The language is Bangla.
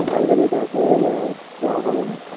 কালকের এইকাজ হয়ে গেলে আর যাওয়া হবেনা